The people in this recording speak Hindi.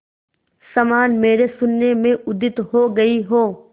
समान मेरे शून्य में उदित हो गई हो